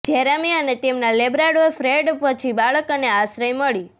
Jeremy અને તેમના labrador Fred પછી બાળક અને આશ્રય મળી